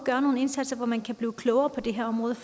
gøre nogle indsatser hvor man kan blive klogere på det her område